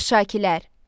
Arşakilər.